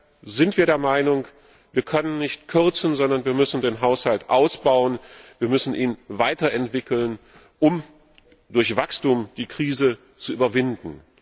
Deshalb sind wir der Meinung, wir können nicht kürzen, sondern wir müssen den Haushalt ausbauen, wir müssen ihn weiter entwickeln, um die Krise durch Wachstum zu überwinden.